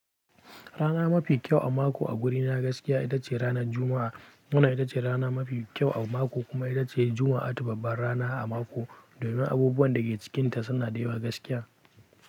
Rana mafi kyau a mako a gurina gaskiya ita ce ranar Juma'a. Wannan ita ce rana mafi kyau a mako kuma ita ce Juma'a tu babban rana a mako domin abubuwan da ke cikinta suna da yawa gaskiya.